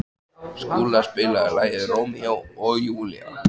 Skúla, spilaðu lagið „Rómeó og Júlía“.